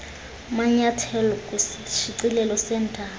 manyethelo kwisishicilelo seendaba